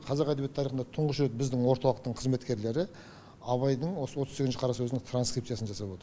қазақ әдебиеті тарихында тұңғыш рет біздің орталықтың қызметкерлері абайдың осы отыз сегізінші қара сөзінің транскрипциясын жасап отыр